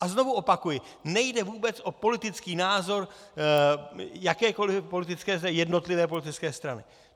A znovu opakuji, nejde vůbec o politický názor jakékoli jednotlivé politické strany.